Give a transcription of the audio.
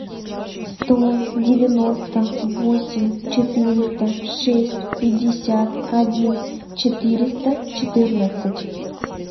сто девяносто восемь четыреста шесть пятьдесят один четыреста четырнадцать